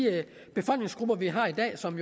befolkningsgrupper vi har i dag og som